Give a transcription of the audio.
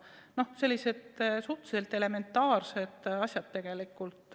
Need on tegelikult sellised suhteliselt elementaarsed asjad.